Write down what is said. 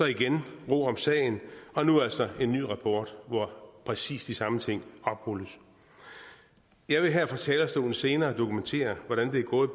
igen ro om sagen og nu altså en ny rapport hvor præcis de samme ting oprulles jeg vil her fra talerstolen senere dokumentere hvordan det er gået